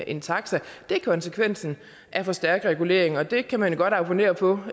en taxa det er konsekvensen af for streng regulering og det kan man godt abonnere på